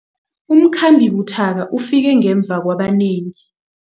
Umkhambi buthaka ufike ngemva kwabanengi.